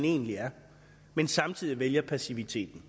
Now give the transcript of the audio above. egentlig er men samtidig vælger passiviteten